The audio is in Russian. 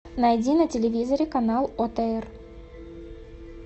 найди на телевизоре канал отр